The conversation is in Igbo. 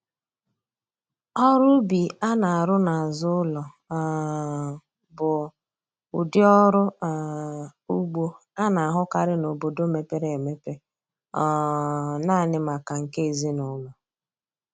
Ọrụ ubi a na-arụ n'azụ ụlọ um bụ ụdị ọrụ um ugbo a na-ahụkarị n'obodo mepere emepe um naanị maka nke ezinụlọ